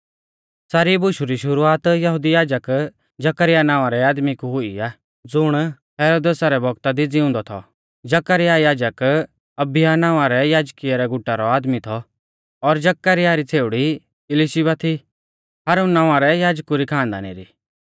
सारी बुशु री शुरुआत यहुदी याजक जकरयाह नावां रै आदमी कु हुई आ ज़ुण यहुदिया रौ राज़ौ हेरोदेसा रै बौगता दी ज़िउंदौ थौ जकरयाह याजक अबिय्याह नावां रै याजकीयै गुटा रौ आदमी थौ और जकरयाह री छ़ेउड़ी इलिशीबा थी हारुन नावां रै याजकु री खानदानी री